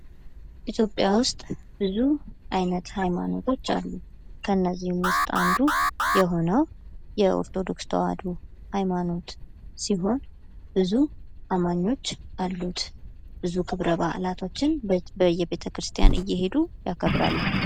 ኢትዮጵያ ውስጥ ብዙ አይነት ሃይማኖቶች አሉ። ከእነዚህም ውስጥ አንዱ የሆነው የኦርቶዶክስ ተዋህዶ ሃይማኖት ሲሆን ብዙ አማኞች አሉት፥ ብዙ ክብረ በአላቶችም በየቤተክርስቲያን እየሄዱ ያከብራሉ።